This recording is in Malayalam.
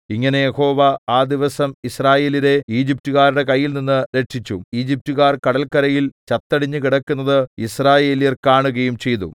ഇങ്ങനെ യഹോവ ആ ദിവസം യിസ്രായേല്യരെ ഈജിപ്റ്റുകാരുടെ കയ്യിൽനിന്ന് രക്ഷിച്ചു ഈജിപ്റ്റുകാർ കടൽക്കരയിൽ ചത്തടിഞ്ഞ് കിടക്കുന്നത് യിസ്രായേല്യർ കാണുകയും ചെയ്തു